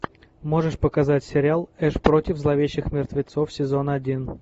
можешь показать сериал эш против зловещих мертвецов сезон один